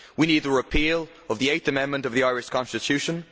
We need the repeal of the Eighth Amendment of the Irish Constitution.